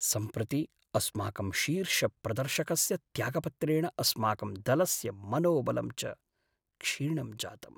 सम्प्रति अस्माकं शीर्षप्रदर्शकस्य त्यागपत्रेण अस्माकं दलस्य मनोबलं च क्षीणं जातम्।